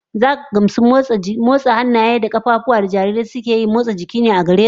Zaka gamsu in aka nuna maka cewa mommotsa hannaye da kafafu da jarirai suke yawan yi yana zaman motsa jiki ne gare su